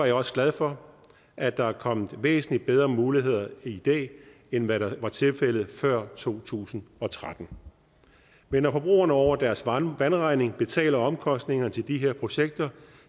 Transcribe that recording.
jeg også glad for at der er kommet væsentlig bedre muligheder i dag end hvad der var tilfældet før to tusind og tretten men når forbrugerne over deres vandregning betaler omkostningerne til de her projekter